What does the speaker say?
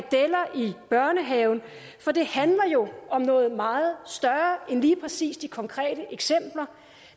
børnehaven for det handler jo om noget meget større end lige præcis de konkrete eksempler